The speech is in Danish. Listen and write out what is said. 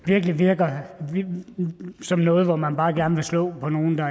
virkelig virker som noget hvor man bare gerne vil slå på nogle der